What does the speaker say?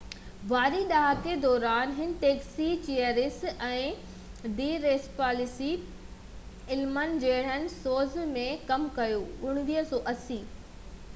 1980 واري ڏهاڪي دوران هن Taxi Cheers ۽ the Tracey Ullman جهڙن شوز ۾ ڪم ڪيو